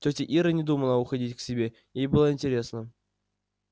тётя ира не думала уходить к себе ей было интересно